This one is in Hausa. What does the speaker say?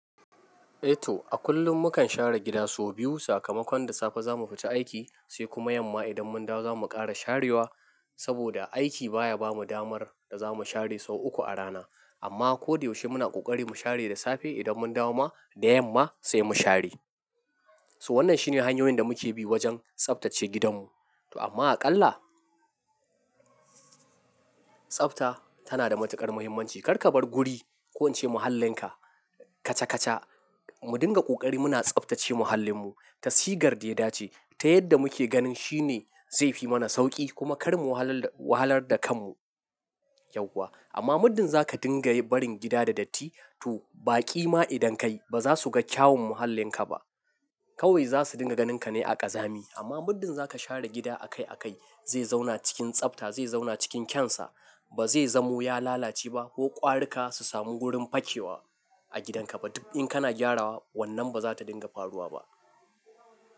Eto, a kullum mukan share gida sau biyu. Sakamakon da safe zamu fita aiki, sai kuma yamma idan mun dawo zamu ƙara sharewa. Saboda aiki baya bamu damar da zamu share sau uku a rana. Amma ko da yaushe muna ƙoƙari mu share da safe idan mun dawo ma, da yamma sai mu share. So wannan shine hanyoyin da muke bi wajen tsaftace gidanmu. To amma aƙalla, tsafta tana da matuƙar muhimmanci. Kar kabar guri ko wance muhallinka kaca-kaca. Mu dinga ƙoƙari muna tsaftace mahallinmu. Tasigar da ya dace ta yadda muke ganin shine zai fi mana sauƙi kuma kar mu wahalar da kanmu yauwa. Amma muddin zaka dinga barin gida da datti, to baƙi ma idan kai baza su ga kyawun mahallinka ba. Kawai za su dinga ganinka ne a ƙazami. Amma muddin zaka share gida akai akai, zai zauna cikin tsafta, zai zauna cikin kyansa. Ba zai zamo ya lalace ba ko ƙwarika su sami gurin fakewa a gidanka ba. Duk in kana gyarawa, wannan ba za ta dinga faruwa ba.